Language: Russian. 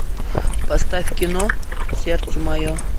поставь кино сердце мое